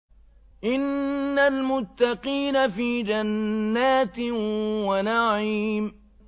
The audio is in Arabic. إِنَّ الْمُتَّقِينَ فِي جَنَّاتٍ وَنَعِيمٍ